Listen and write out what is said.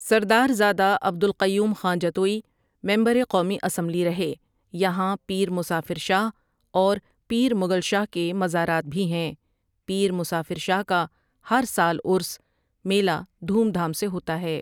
سردار زادہ عبد القیوم خاں جتوئی ممبر قومی اسمبلی رہے یہاں پیر مسافر شاہ اور پیر مگل شاہ کے مزرات بھی ہیں پیرمسافر شاہ کا ہر سال عرس میلہ دھوم دھام سے ہوتا ہے